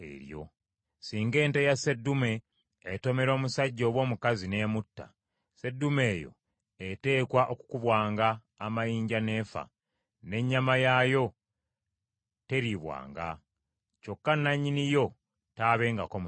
“Singa ente ya seddume etomera omusajja oba omukazi n’emutta, seddume eyo eteekwa okukubwanga amayinja n’efa, n’ennyama yaayo teriibwanga. Kyokka nannyini yo taabengako musango.